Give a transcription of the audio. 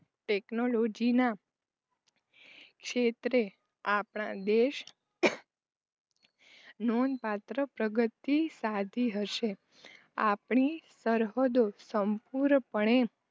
ટેક્નોલોજીના ક્ષેત્રે આપણા દેશ નોંધપાત્ર પ્રગતિ સાધી હશે આપણી સરહદો સંપૂણ પણે